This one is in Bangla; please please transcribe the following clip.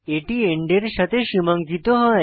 এটি এন্ড এর সাথে সীমাঙ্কিত হয়